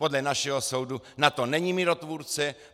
Podle našeho soudu NATO není mírotvůrce.